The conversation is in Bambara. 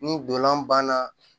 Ni dolan banna